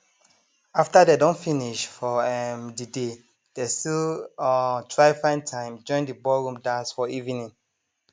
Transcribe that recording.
after dem don finish for um de day dey still um try find time join de ballroom dance for evening